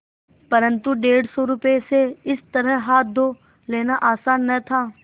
परन्तु डेढ़ सौ रुपये से इस तरह हाथ धो लेना आसान न था